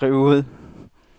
skriv ud